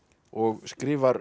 og skrifar